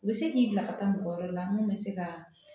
U bɛ se k'i bila ka taa mɔgɔ wɛrɛ la mun bɛ se ka